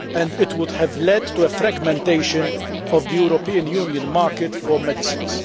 It would have led to a fragmentation of the European Union market for medicines.